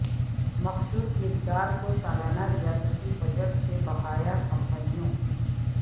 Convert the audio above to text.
مخصوص مقدار کو سالانہ ریاستی بجٹ سے بقایا کمپنیوں